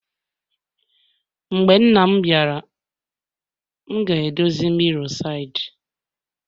Mgbe nna m biara,e m ga-edozi mirror side